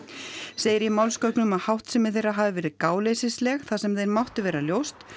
segir í málsgögnum að háttsemi þeirra hafi verið gáleysisleg þar sem þeim mátti vera ljóst